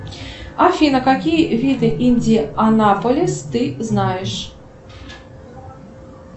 афина какие виды индианаполис ты знаешь